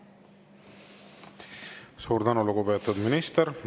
Suur tänu, lugupeetud minister!